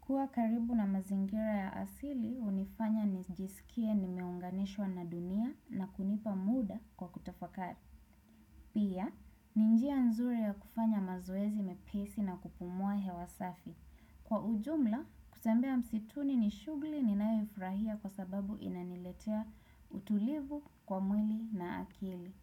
Kuwa karibu na mazingira ya asili, hunifanya nijisikie nimeunganishwa na dunia na kunipa muda kwa kutafakari. Pia, ni njia nzuri ya kufanya mazoezi mepesi na kupumua hewa safi. Kwa ujumla, kutembea msituni ni shughli niyoifurahia kwa sababu inaniletea utulivu kwa mwili na akili.